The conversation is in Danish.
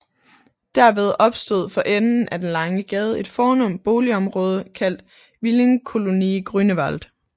Derved opstod for enden af den lange gade et fornemt boligområde kaldt Villenkolonie Grunewald